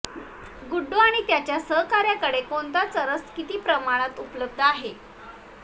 गुड्डू आणि त्याच्या सहकाऱ्याकडे कोणता चरस किती प्रमाणात उपलब्ध आहे